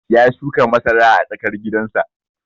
Ya shuka masara a tsakar gidan sa